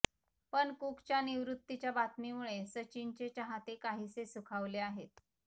पण कुकच्या निवृत्तीच्या बातमीमुळे सचिनचे चाहते काहीसे सुखावले आहेत